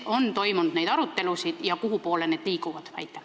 Kas neid arutelusid on toimunud ja kuhupoole need liiguvad?